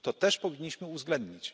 To też powinniśmy uwzględnić.